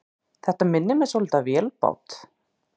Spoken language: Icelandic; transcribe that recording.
Þetta minnir svolítið á vélbát.